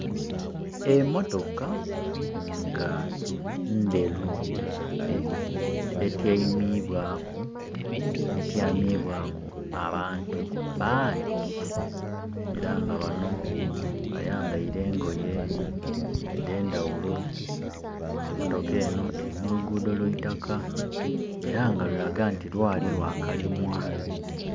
Emotoka nga ndheru etyamibwaku abantu bangi, era nga bano bayambaile engoye edhendhaghulo. Emotoka eno eri mu lugudho lwa itaka, era nga lulaga nti lwali lwa kalimwa.